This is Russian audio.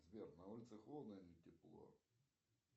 сбер на улице холодно или тепло